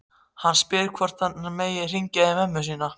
Hann spyr hvort hann megi hringja í mömmu sína.